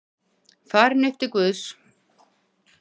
Farin upp til Guðs.